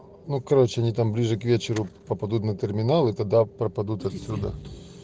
ну короче они там ближе к вечеру попадут на терминалы тогда пропадут отсюда